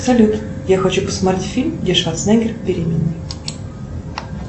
салют я хочу посмотреть фильм где шварценеггер беременный